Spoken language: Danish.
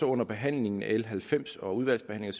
under behandlingen af l halvfems og udvalgsbehandlingen